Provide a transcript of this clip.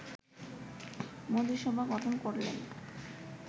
মন্ত্রিসভা গঠন করলেন